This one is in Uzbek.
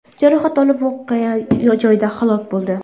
jarohat olib, voqea joyida halok bo‘ldi.